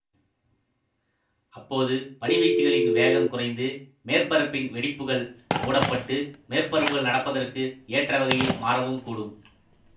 அப்போது பனிவீழ்ச்சிகளின் வேகம் குறைந்து மேற்பரப்பின் வெடிப்புகள் மூடப்பட்டு மேற்பரப்புகள் நடப்பதற்கு ஏற்றவகையில் மாறவும் கூடும்